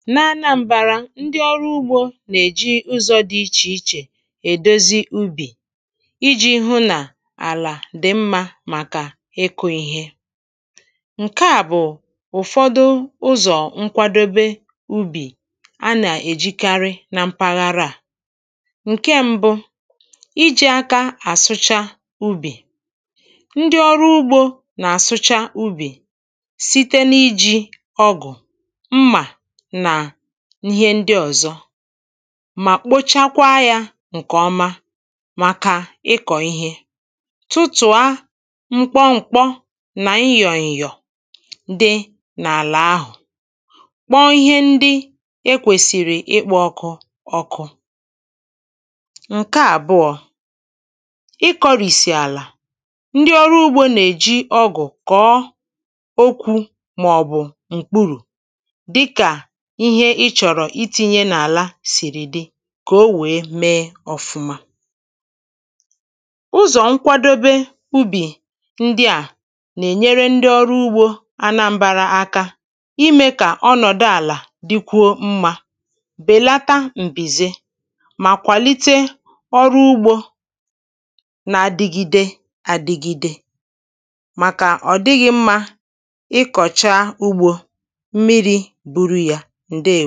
n’anambārā, ndị ọrụ ugbō nà-èji ụzọ̄ dị̄ ichè ichè èdozi ubì ijī hụ nà àlà dị̀ mmā màkà ịkụ̄ ihe ǹke à bụ ụ̀fọdụ ụzọ̀ nkwadobe ubì a nà-èjikarị na mpaghara à. ǹke m̄bụ̄, ijī aka à sụcha ubì ubì ndị ọrụ ugbō nà-àsụcha ubì site n’ijī ọgụ̀, mmà, nà ihe ndị ọ̀zọ mà kpochakwa yā ǹkè ọma màkà ịkọ̀ ihe tụtụ̀ a mkpọmkpọ nà ịyọ̀ǹyọ̀ dị n’àlà ahụ̀ kpọ ihe ndị e kwèsị̀rị̀ ịkpọ̄ ọkụ ọkụ ǹke àbụọ̄, ịkọ̄rìsì àlà. ndị ọrụ ugbo nà-èji ọgụ̀ kọ̀ọ okwū màọ̀bụ̀ m̀kpurù dịkà ihe ịchọ̀rọ̀ itīnyē n’àla sìrì dị kà o wèe mee ọ̄fụ̄ma ụzọ̀ nkwadobe ubì ndị a nà-ènyere ndị ọrụ ugbō anambara aka imē kà ọnọ̀dụ àlà dikwuo mmā bèlata m̀bìze mà kwàlite ọrụ ugbō na-adɪgide adịgịde màkà ọ̀ dịghị̄ mmā ịkọ̀cha ugbō ḿmirī